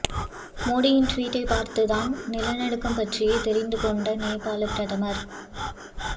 மோடியின் ட்வீட்டை பார்த்து தான் நிலநடுக்கம் பற்றியே தெரிந்து கொண்ட நேபாள பிரதமர்